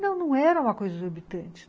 Não, não era uma coisa exorbitante.